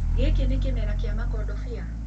Gĩkĩ nĩ kĩmera kia makondobia?